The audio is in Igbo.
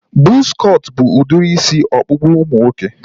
Buzz cut bụ udiri isi ọkpụkpụ ụmụ nwoke